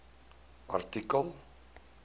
artikel